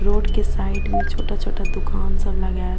Road के side में छोटा-छोटा दुकान सब लगा है।